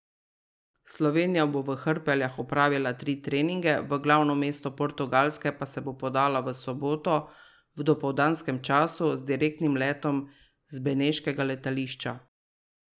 Slovenija bo v Hrpeljah opravila tri treninge, v glavno mesto Portugalske pa se bo podala v soboto v dopoldanskem času z direktnim letom z beneškega letališča.